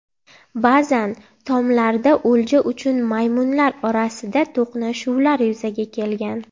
Ba’zan tomlarda o‘lja uchun maymunlar orasida to‘qnashuvlar yuzaga kelgan.